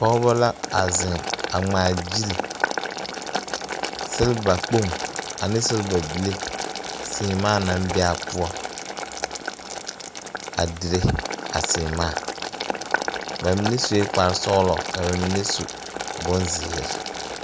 Pɔgeba la a zeŋ a ŋmaagyili silbakpoŋ ane silbabible seemaa naŋ be a poɔ a dire a seemaa ba mine sue kparesɔglɔ ka ba mine su bonzeere.